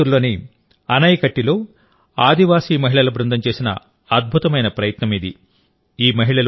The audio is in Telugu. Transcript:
కోయంబత్తూరులోని అనైకట్టిలో ఆదివాసి మహిళల బృందం చేసిన అద్భుతమైన ప్రయత్నం ఇది